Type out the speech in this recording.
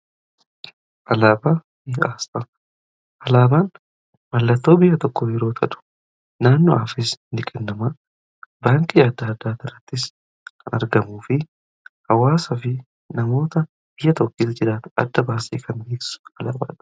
Alaabaan mallattoo biyya tokko yeroo ta'u. naannoofis ni kennama. Baankii adda adda irrattis kan argamuu fi hawaasaa fi namoota biyya tokko keessa jiraatan adda baasee kan ibsu alaabaadha.